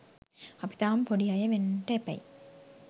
අපි තාම පොඩි අය වෙන්ට එපැයි